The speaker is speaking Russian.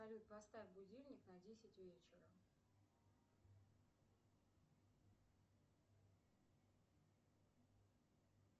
салют поставь будильник на десять вечера